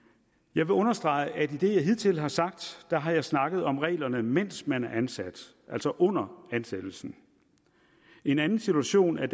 jeg vil understrege at det jeg hidtil har sagt har snakket om reglerne mens man er ansat altså under ansættelsen en anden situation er